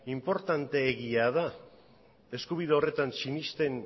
inportanteegia da eskubide horretan sinesten